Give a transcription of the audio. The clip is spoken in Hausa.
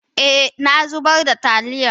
eh, na zubar da taliyan